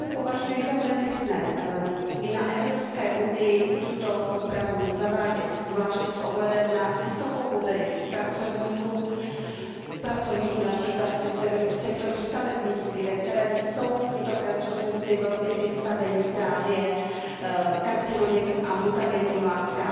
Dokonce považuji za nezbytné i na evropské úrovni tuto úpravu zavádět, zvláště s ohledem na vysokou mobilitu pracovníků například v sektoru stavebnictví, ve kterém jsou tito pracovníci velmi vystaveni karcinogenním a mutagenním látkám.